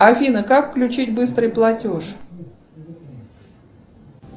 афина как включить быстрый платеж